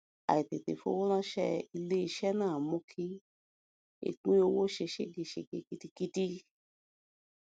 àìtètè fowó ránṣẹ ilé iṣẹ náà mú kí ẹpín owó ṣe ségesège gidigidi